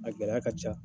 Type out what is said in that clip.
A gɛlɛya ka ca